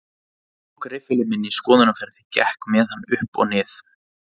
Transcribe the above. Ég tók riffilinn minn í skoðunarferð, gekk með hann upp og nið